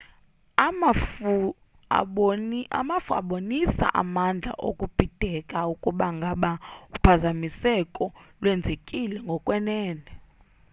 amafu abonisa amandla okubhideka ukuba ngaba uphazamiseko lwenzekile ngokwenene